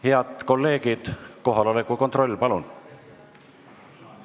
Head kolleegid, kohaloleku kontroll, palun!